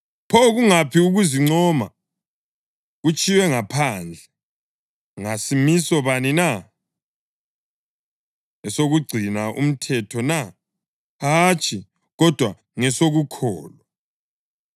Pho kungaphi ukuzincoma? Kutshiywe ngaphandle. Ngasimiso bani na? Esokugcina umthetho na? Hatshi, kodwa ngesokukholwa.